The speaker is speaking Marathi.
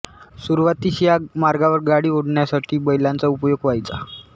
सुरुवातीस या मार्गावर गाडी ओढण्यासाठी बैलांचा उपयोग व्हायचा